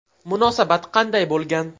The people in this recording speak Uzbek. Munosabat qanday bo‘lgan?